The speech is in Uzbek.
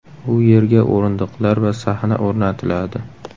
U yerga o‘rindiqlar va sahna o‘rnatiladi.